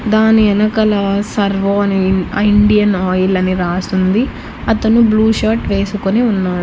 దాని ఎనకల సర్వో అని ఆ ఇండియన్ ఆయిల్ అని రాసుంది అతను బ్లూ షర్ట్ వేసుకొని ఉన్నా--